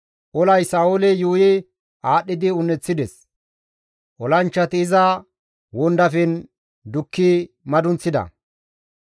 Olay Sa7oole yuuyi aadhdhidi un7eththides; olanchchati iza wondafen dukki madunththida.